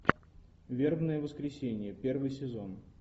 вербное воскресенье первый сезон